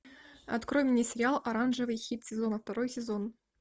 открой мне сериал оранжевый хит сезона второй сезон